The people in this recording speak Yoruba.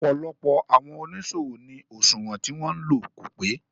Ọ̀pọ̀lọpọ̀ àwọn oníṣòwò ní òṣùwọ̀n tí wọn ń lò kò pé.